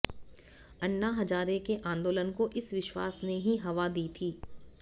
अण्णा हजारे के आंदोलन को इस विश्वास ने ही हवा दी थी